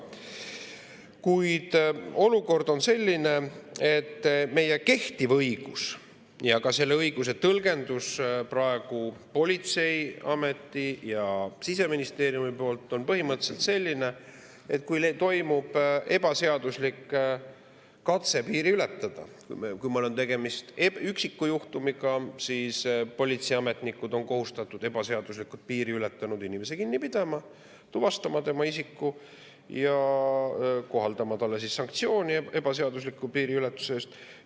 Kuid olukord on selline, et meie kehtiv õigus ja ka selle õiguse tõlgendus politseiameti ja Siseministeeriumi poolt on põhimõtteliselt selline, et kui toimub ebaseaduslik katse piiri ületada, kui meil on tegemist üksiku juhtumiga, siis politseiametnikud on kohustatud ebaseaduslikult piiri ületanud inimese kinni pidama, tuvastama tema isiku ja kohaldama talle sanktsioone ebaseadusliku piiriületuse eest.